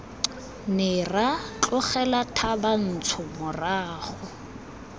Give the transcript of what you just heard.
ne ra tlogela thabantsho morago